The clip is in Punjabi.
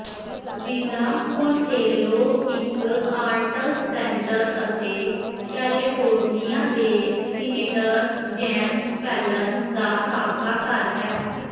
ਵਿਲਾ ਮੋਂਟੇਲੋ ਇਕ ਆਰਟਸ ਸੈਂਟਰ ਅਤੇ ਕੈਲੇਫੋਰਨੀਆ ਦੇ ਸੀਨੇਟਰ ਜੇਮਸ ਫੇਲਨ ਦਾ ਸਾਬਕਾ ਘਰ ਹੈ